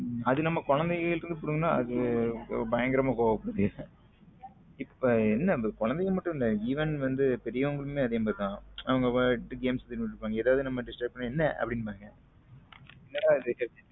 அத நம்ம குழந்தைகள் கிட்ட இருந்து புடுங்கினா அது பயங்கரமா கோவம் படுத்துக இப்போ என்ன குழந்தைகள் மட்டும் இல்லை even வந்து பெரியவங்களுமே அந்த மாதிரி தான் அவங்க games இது பண்ணிட்டு இருப்பாங்க நம்ம ஏதாவது disturb பண்ணா என்ன அப்படிம்பாங்க என்னடா இது